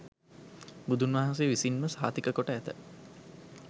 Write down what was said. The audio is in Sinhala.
බුදුන්වහන්සේ විසින්ම සහතික කොට ඇත.